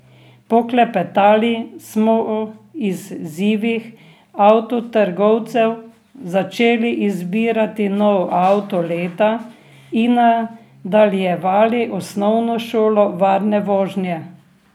Poklepetali smo o izzivih avtotrgovcev, začeli izbirati nov avto leta in nadaljevali osnovno šolo varne vožnje.